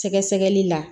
Sɛgɛsɛgɛli la